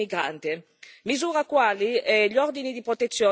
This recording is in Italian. E proprio per questo ci vuole anche più attenzione alle donne migranti.